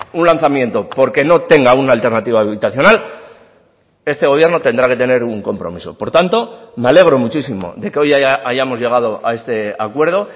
un lanzamiento porque no tenga una alternativa habilitacional este gobierno tendrá que tener un compromiso por tanto me alegro muchísimo de que hoy hayamos llegado a este acuerdo